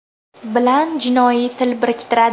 bilan jinoiy til biriktiradi.